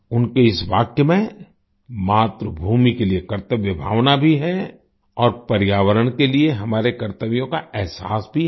उनके इस वाक्य में मातृभूमि के लिए कर्तव्य भावना भी है और पर्यावरण के लिए हमारे कर्तव्यों का अहसास भी है